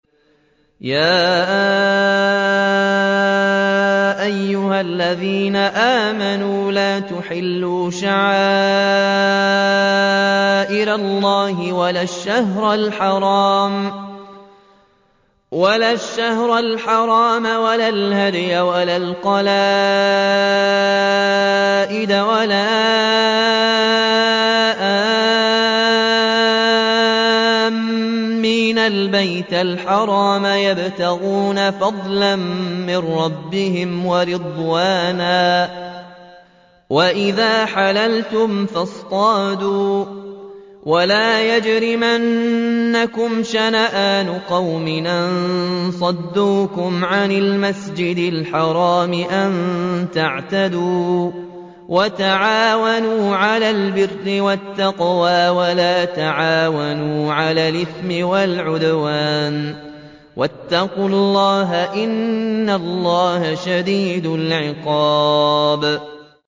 يَا أَيُّهَا الَّذِينَ آمَنُوا لَا تُحِلُّوا شَعَائِرَ اللَّهِ وَلَا الشَّهْرَ الْحَرَامَ وَلَا الْهَدْيَ وَلَا الْقَلَائِدَ وَلَا آمِّينَ الْبَيْتَ الْحَرَامَ يَبْتَغُونَ فَضْلًا مِّن رَّبِّهِمْ وَرِضْوَانًا ۚ وَإِذَا حَلَلْتُمْ فَاصْطَادُوا ۚ وَلَا يَجْرِمَنَّكُمْ شَنَآنُ قَوْمٍ أَن صَدُّوكُمْ عَنِ الْمَسْجِدِ الْحَرَامِ أَن تَعْتَدُوا ۘ وَتَعَاوَنُوا عَلَى الْبِرِّ وَالتَّقْوَىٰ ۖ وَلَا تَعَاوَنُوا عَلَى الْإِثْمِ وَالْعُدْوَانِ ۚ وَاتَّقُوا اللَّهَ ۖ إِنَّ اللَّهَ شَدِيدُ الْعِقَابِ